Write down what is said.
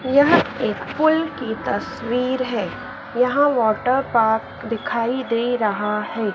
यह एक पुल की तस्वीर है यहां वाटरपार्क दिखाई दे रहा है।